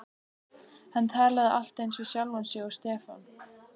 Hann talaði allt eins við sjálfan sig og Stefán.